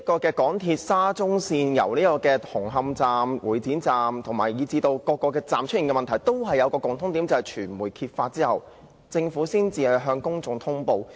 港鐵沙中線紅磡站和會展站，以至各個車站出現的問題均有一個共同點，就是在傳媒揭發事件後政府才向公眾通布。